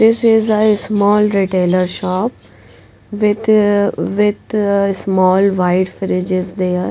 this is a small retailer shop with with small white fridge is there.